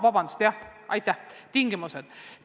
Vabandust, jah, aitäh, tingimused!